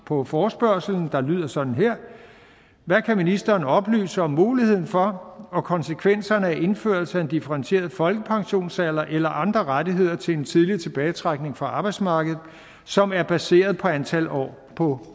på forespørgslen der lyder sådan her hvad kan ministeren oplyse om muligheden for og konsekvenserne af indførelse af en differentieret folkepensionsalder eller andre rettigheder til en tidlig tilbagetrækning fra arbejdsmarkedet som er baseret på antal år på